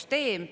Aitäh!